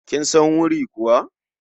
Kin san wuri kuwa?